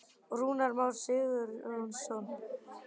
Rúnar Már Sigurjónsson: Er Aron Einar segull?